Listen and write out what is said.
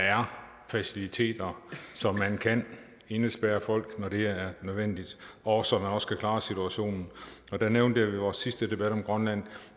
er faciliteter så man kan indespærre folk når det er nødvendigt og så man også kan klare situationen jeg nævnte ved vores sidste debat om grønland